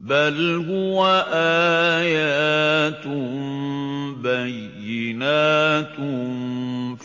بَلْ هُوَ آيَاتٌ بَيِّنَاتٌ